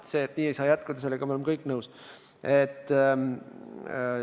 Sellega, et nii ei saa jätkuda, oleme ju kõik nõus.